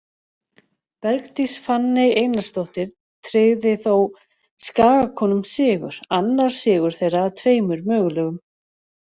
Bergdís Fanney Einarsdóttir tryggði þó Skagakonum sigur, annar sigur þeirra af tveimur mögulegum.